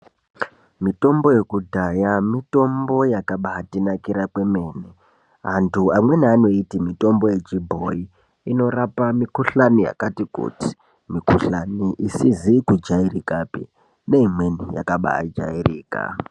Mitombo yekudhaya mitombo yakabatinakira kwemene. Antu amweni anoiti mitombo yechibhoyi inorapa mikuhlani yakati kuti, mikuhlani isizi kujairikapi, neimweni yakabajairika.